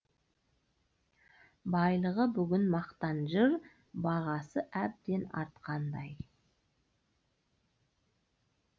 байлығы бүгін мақтан жыр бағасы әбден артқандай